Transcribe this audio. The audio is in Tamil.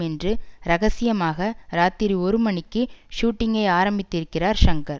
என்று ரகசியமாக ராத்திரி ஒரு மணிக்கு ஷூட்டிங்கை ஆரம்பித்திருக்கிறார் ஷங்கர்